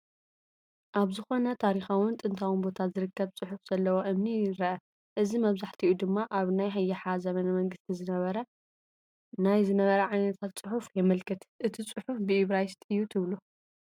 ኣብ ዝኾነ ታሪካውን ጥንታውን ቦታ ዝርከብ ፅሑፍ ዘለዎ እምኒ ይረአ፡፡ እዚ መብዛሕትኡ ድማ ኣብ ናይ ይሓ ዘመነ መንግስቲ ዝነበረ ናይ ዝነበረ ዓይነታት ፅሑፍ የመልክት፡፡ እቲ ፅሑፍ ብኢብራይስጥ እዩ ትብሉ?